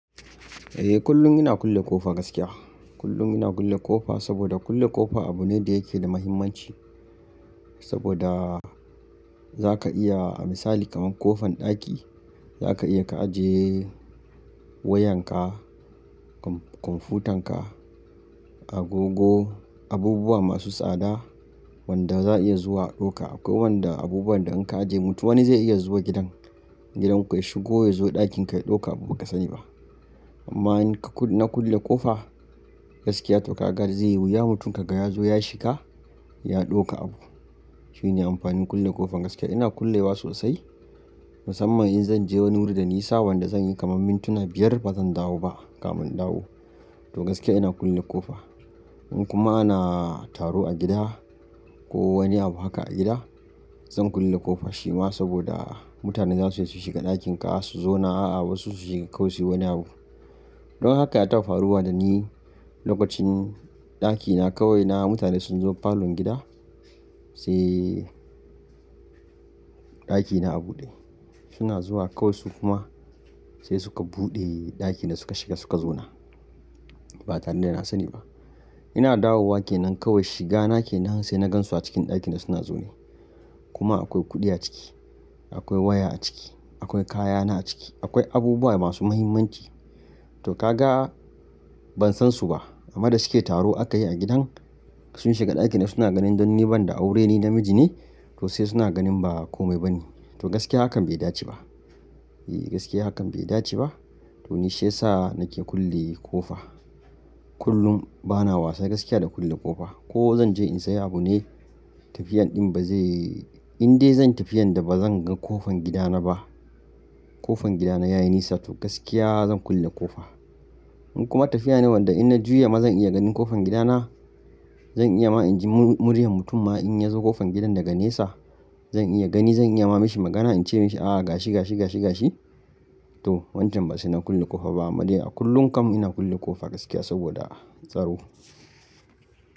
Eh kullum ina kulle ƙofa gaskiya. Kullum ina kulle ƙofa saboda kulle ƙofa abu ne da yake da muhimmanci. Saboda za ka iya, a misali kamar ƙofan ɗaki za ka iya ka aje wayanka, kwamfutanka, agogo, abubuwa masu tsada wanda za a iya zuwa a ɗauka. Akwai wanda abubuwan da an ka aje mutum wani zai iya zuwa gidan, gidanku ya shigo ya zo ɗakinka ya ɗauki abu ba ka sani ba. Amma in ka na kulle ƙofa gaskiya to ka ga zai yi wuya mutum ka ga ya zo ya shiga ya ɗauka abu. Shine amfanin kulle ƙofa gaskiya. Ina kulle wa sosai musamman in zan je wani wuri da nisa wanda zan yi kamar mintuna biyar ba zan dawo ba kafin in dawo. To gaskiya ina kulle ƙofa. Ko kuma ana taro a gida ko wani abu haka a gida zan kulle ƙofa shi ma saboda mutane za su iya su shiga ɗakinka su zo na a'a wasu su shiga kawai suyi wani abu. Don haka ya tafi faruwa da ni lokacin ɗakina kawai na mutane sun zo falon gida sai ɗakina a buɗe. Suna zuwa kawai su kuma sai suka buɗe ɗakina suka shiga suka zo na. Ba tare da ina sani ba. Ina dawowa kenan kawai shiga nake nan sai na gan su a cikin ɗakina suna zo ne. Kuma akwai kuɗi a ciki, akwai waya a ciki, akwai kayana a ciki, akwai abubuwa masu muhimmanci. To ka ga ban san su ba amma da suke taro aka yi a gidan sun shiga ɗakina suna ganin don ni ban da aure ni namiji ne to sai suna ganin ba kome bane. To gaskiya hakan bai dace ba. E gaskiya hakan bai dace ba. To ni shi yasa nake kulle ƙofa. Kullum bana wasa gaskiya da kulle ƙofa. Ko zan je in sayi abu ne tafiyan ɗin ba zai, in dai zan tafiya da ba zan ga ƙofan gidana ba, ƙofan gidana ya yi nisa to gaskiya zan kulle ƙofa. In kuma tafiya ne wadda in na juya ma zan iya ganin ƙofan gidana, zan iya ma in ji murya mutum ma in ya zo ƙofan gidan daga nesa zan iya gani zan iya ma mishi magana in ce mishi a gashi, gashi, gashi, gashi to wancan ba sai na kulle ƙofa ba amma dai a kullum kam ina kulle ƙofa gaskiya saboda tsaro.